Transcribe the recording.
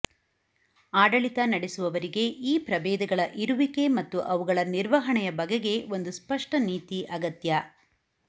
ಆಡಳಿತ ನಡೆಸುವವರಿಗೆ ಈ ಪ್ರಭೇದಗಳ ಇರುವಿಕೆ ಮತ್ತು ಅವುಗಳ ನಿರ್ವಹಣೆಯ ಬಗೆಗೆ ಒಂದು ಸ್ಪಷ್ಟ ನೀತಿ ಅಗತ್ಯ